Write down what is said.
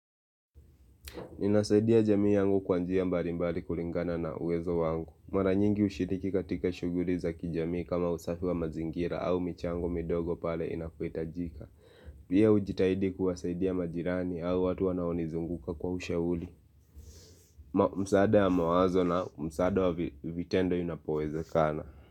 Ninasaidia jamii yangu kwa njia mbali mbali kulingana na uwezo wangu. Mara nyingi ushiriki katika shuguri za kijamii kama usafi wa mazingira au michango midogo pale inapohitajika. Pia ujitahidi kuwasaidia majirani au watu wanaonizunguka kwa ushauli. Msaada ya mawazo na msaada wa vitendo inapowezekana.